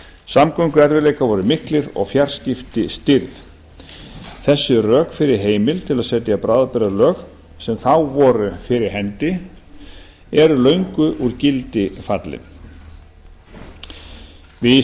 samgönguerfiðleikar voru miklir og fjarskipti stirð þessi rök fyrir heimild til þess að setja bráðabirgðalög eru löngu úr gildi fallin við